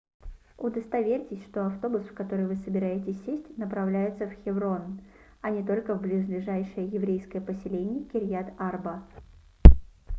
удостоверьтесь что автобус в который вы собираетесь сесть направляется в хеврон а не только в близлежащее еврейское поселение кирьят-арба